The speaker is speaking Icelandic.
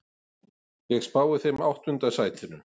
Ég spái þeim áttunda sætinu.